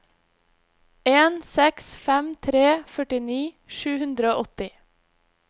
en seks fem tre førtini sju hundre og åtti